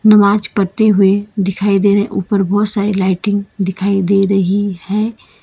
नमाज पढ़ते हुए दिखाई दे रहे ऊपर बहुत सारी लाइटे दिखाई दे रही हैं।